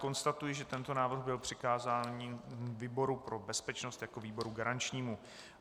Konstatuji, že tento návrh byl přikázaný výboru pro bezpečnost jako výboru garančnímu.